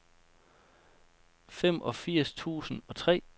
femogfirs tusind og tre